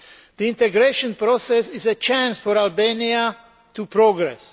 The integration process is a chance for Albania to progress.